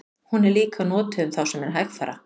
Hún er líka notuð um þá sem eru hægfara.